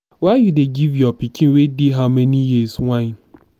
why you dey give your pikin wey dey how many years wine.